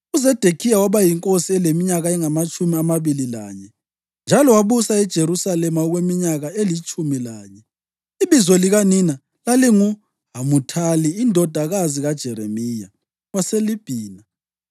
UZedekhiya waba yinkosi eleminyaka engamatshumi amabili lanye, njalo wabusa eJerusalema okweminyaka elitshumi lanye. Ibizo likanina lalinguHamuthali indodakazi kaJeremiya, waseLibhina.